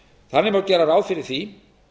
þannig má gera ráð fyrir því